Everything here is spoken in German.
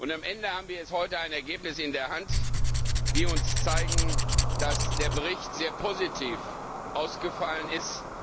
Am Ende haben wir heute ein Ergebnis in der Hand, das uns zeigt, dass der Bericht sehr positiv ausgefallen ist.